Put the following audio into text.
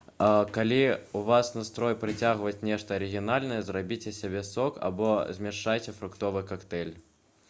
калі ў вас настрой прыгатаваць нешта арыгінальнае зрабіце сабе сок або змяшайце фруктовы кактэйль